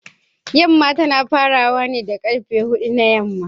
Yamma tana farawa da karfe hudu na yamma